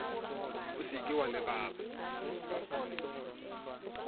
o se ke wa lebala